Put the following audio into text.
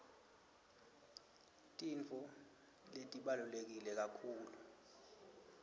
tintfo letibaluleke kakhulu